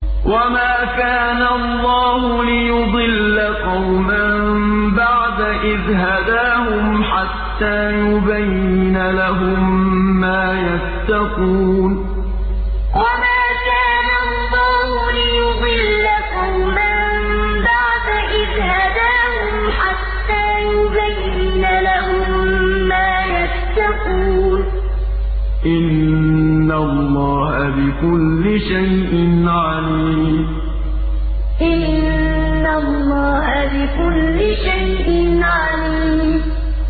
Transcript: وَمَا كَانَ اللَّهُ لِيُضِلَّ قَوْمًا بَعْدَ إِذْ هَدَاهُمْ حَتَّىٰ يُبَيِّنَ لَهُم مَّا يَتَّقُونَ ۚ إِنَّ اللَّهَ بِكُلِّ شَيْءٍ عَلِيمٌ وَمَا كَانَ اللَّهُ لِيُضِلَّ قَوْمًا بَعْدَ إِذْ هَدَاهُمْ حَتَّىٰ يُبَيِّنَ لَهُم مَّا يَتَّقُونَ ۚ إِنَّ اللَّهَ بِكُلِّ شَيْءٍ عَلِيمٌ